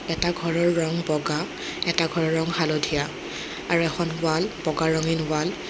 এটা ঘৰৰ ৰং বগা এটা ঘৰৰ ৰং হালধীয়া আৰু এখন ৱাল বগা ৰঙীন ৱাল ।